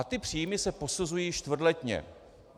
A ty příjmy se posuzují čtvrtletně.